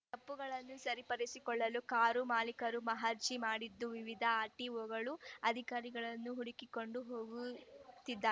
ತಪ್ಪುಗಳನ್ನು ಸರಿಪಡಿಸಿಕೊಳ್ಳಲು ಕಾರು ಮಾಲಿಕರು ಮಹಜಿ ರ್‌ ಮಾಡಿದ್ದ ವಿವಿಧ ಆರ್‌ಟಿಒಗಳ ಅಧಿಕಾರಿಗಳನ್ನು ಹುಡುಕಿಕೊಂಡು ಹೋಗು ತ್ತಿದ್ದಾ